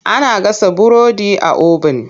Ana gasa burodi a obin.